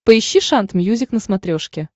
поищи шант мьюзик на смотрешке